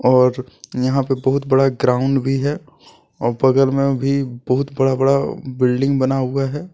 औच यहां पर बहुत बड़ा ग्राउंड भी है और बगल मे भी बहुत बड़ा बड़ा बिल्डिंग बना हुआ है।